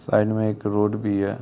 Side में एक road भी है।